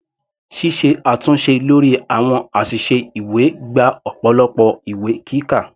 Ṣíṣe àtúnṣe lórí àwọn àṣìṣe ìwé gba ọ̀pọ̀lọpọ̀ ìwé kíkà.